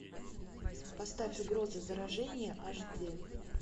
поставь угроза заражения аш ди